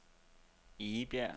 Egebjerg